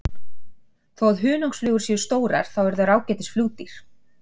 þó að hunangsflugur séu stórar þá eru þær ágætis flugdýr